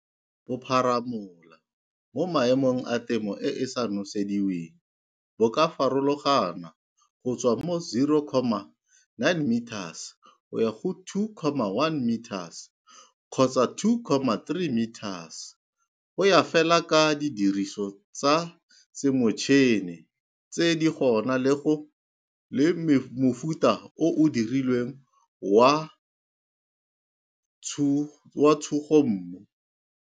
Bopharamola mo maemong a temo e e sa nosediweng bo ka farologana go tswa mo 0,9metres go ya 2,1metres kgotsa 2,3metres, go ya fela ka didiriso tsa semotšhine tse di gona le go le le mofuta o o dirilweng wa tshugommu.